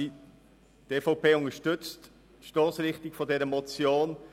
Die EVP unterstützt die Stossrichtung der Motion.